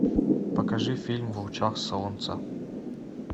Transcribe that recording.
покажи фильм в лучах солнца